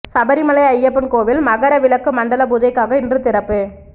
சபரிமலை ஐயப்பன் கோவில் மகர விளக்கு மண்டல பூஜைக்காக இன்று திறப்பு